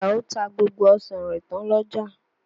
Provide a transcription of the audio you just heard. Àjàó ta gbogbo ọsàn rẹ̀ tán l'ọ́jà.